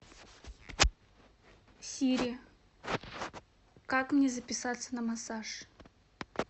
сири как мне записаться на массаж